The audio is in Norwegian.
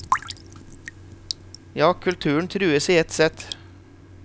Ja, kulturen trues i ett sett.